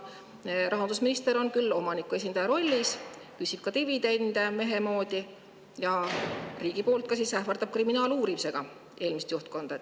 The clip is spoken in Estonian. Rahandusminister on küll riigi kui omaniku esindaja rollis, küsib mehemoodi dividende ja siis ka ähvardab kriminaaluurimisega eelmist juhtkonda.